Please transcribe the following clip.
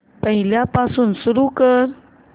पहिल्यापासून सुरू कर